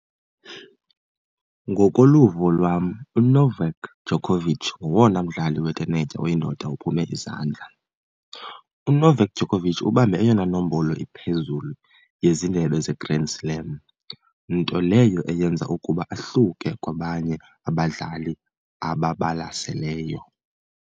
Ngokoluvo lwam uNovak Djokovic ngowona mdlali wentenetya oyindoda ophume izandla. UNovak Djokovic ubambe eyona nombolo iphezulu yezindebe zeGrand Slam, nto leyo eyenza ukuba ahluke kwabanye abadlali ababalaseleyo.